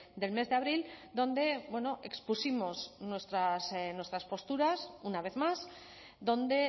del mes de abril donde expusimos nuestras posturas una vez más donde